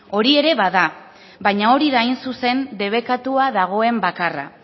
hori ere bada baina hori da hain zuzen debekatua dagoen bakarra